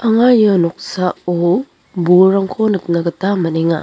anga ia noksao bolrangko nikna gita man·enga.